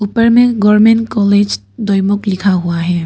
ऊपर में government college Doimukh लिखा हुआ है।